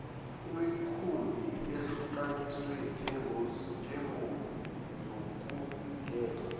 imikhumbi ehlukaniswe njengezokuvikela